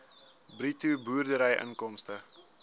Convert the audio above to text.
bruto boerderyinkomste